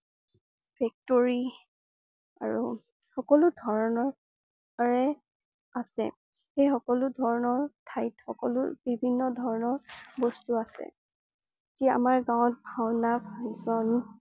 factory আৰু সকলো ধৰণ~ৰে আছে। সেই সকলো ধৰণৰ ঠাইত সকলো বিভিন্ন ধৰণৰ বস্তু আছে। সেই আমাৰ গাঁৱত ভাওনা function